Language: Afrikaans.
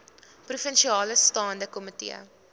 provinsiale staande komitee